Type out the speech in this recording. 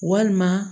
Walima